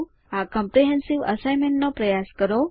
આ comprehensive assignment નો પ્રયાસ કરો